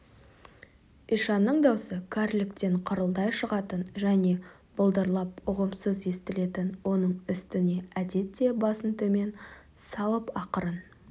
ишанның даусы кәріліктен қырылдай шығатын және былдырлап ұғымсыз естілетін оның үстіне әдетте басын төмен салып ақырын